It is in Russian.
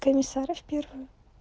комиссаров